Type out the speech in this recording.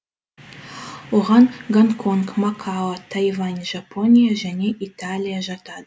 оған гонконг макао тайвань жапония және италия жатады